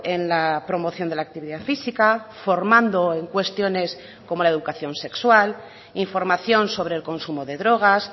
en la promoción de la actividad física formando en cuestiones como la educación sexual información sobre el consumo de drogas